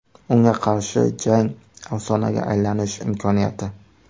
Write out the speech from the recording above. Unga qarshi jang afsonaga aylanish imkoniyati.